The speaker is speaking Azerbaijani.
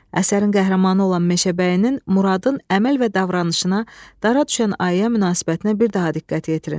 Əsərin qəhrəmanı olan Meşəbəyinin, Muradın əməl və davranışına, dara düşən ayıya münasibətinə bir daha diqqət yetirin.